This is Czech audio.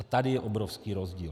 A tady je obrovský rozdíl.